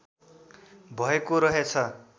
भएको रहेछ